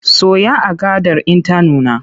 Soya agadar in ta nuna!